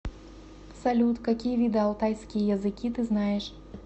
салют какие виды алтайские языки ты знаешь